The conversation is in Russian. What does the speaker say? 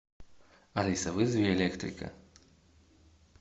алиса вызови электрика